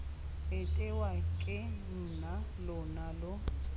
itewa ke nna lona lo